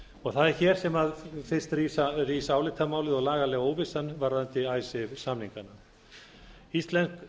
ríkisábyrgð það er hér sem rís fyrsta álitamálið og lagalega óvissan varðandi samningana íslensk